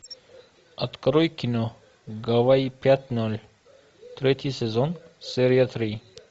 открой кино гавайи пять ноль третий сезон серия три